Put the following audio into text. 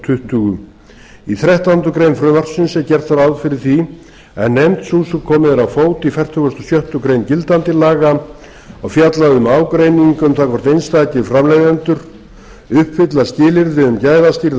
tuttugu í þrettándu greinar frumvarpsins er gert ráð fyrir því að nefnd sú sem borð er á fót í fertugustu og sjöttu grein gildandi laga og fjalla um ágreining um það hvort einstakir framleiðendur uppfylla skilyrði um gæðastýrða